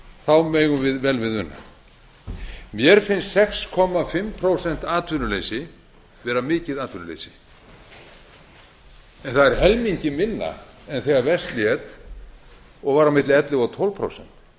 þá megum við vel við una mér finnst sex og hálft prósent atvinnuleysi vera mikið atvinnuleysi en það er helmingi minna en þegar verst lét og var milli ellefu og tólf prósent